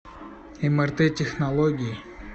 мрт технологии